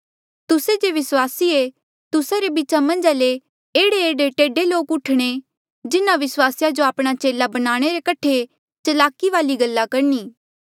तुस्से जे विस्वासी ऐें तुस्सा रे बीचा मन्झा ले भी एह्ड़ेएह्ड़े टेढ़े लोक उठणे जिन्हा विस्वासिया जो आपणा चेला बनाणे रे कठे चलाकी वाली गल्ला करणी